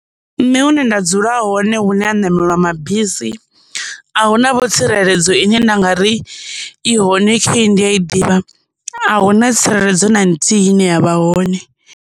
Nṋe hune nda dzula hone hune ha nameliwa mabisi, ahuna vho tsireledzo ine nda ngari i hone khei ndi ya i ḓivha, ahuna tsireledzo na nthihi ine yavha hone.